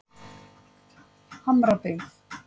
Hamrabyggð